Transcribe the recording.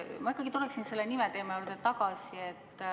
Ma ikkagi tuleksin selle nime teema juurde tagasi.